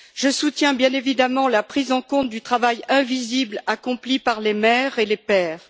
Je soutiens, bien évidemment, la prise en compte du travail invisible accompli par les mères et les pères.